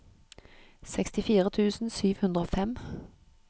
sekstifire tusen sju hundre og fem